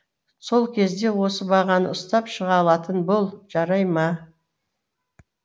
сол кезде осы бағаны ұстап шыға алатын бол жарай ма